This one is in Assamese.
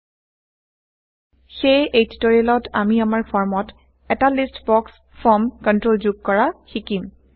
160 সেয়ে এই টিউটৰিয়েলত আমি আমাৰ ফৰ্মত160এটা লিষ্ট বক্স ফৰ্ম কন্ট্ৰল যোগ কৰা শিকিম